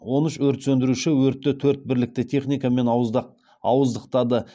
он үш өрт сөндіруші өртты төрт бірлікті техникамен ауыздықтады